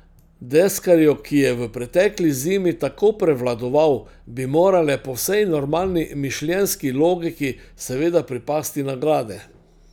Deskarju, ki je v pretekli zimi tako prevladoval, bi morale po vsej normalni mišljenjski logiki seveda pripasti nagrade.